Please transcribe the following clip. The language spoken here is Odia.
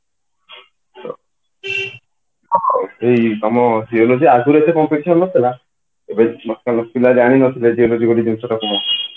ଏଇ ତମ geology ଆଗରୁ ଏତେ competition ନଥିଲା ପିଲା ଜାଣି ନଥିଲେ geology ବୋଲି ଜିନିଷ ଟା କଣ